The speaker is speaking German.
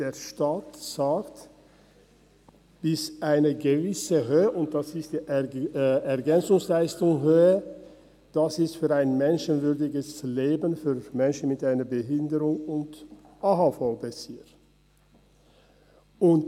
Der Staat gibt eine gewisse Höhe der EL vor, für ein menschenwürdiges Leben für Menschen mit einer Behinderung und AHV-Bezüger ist.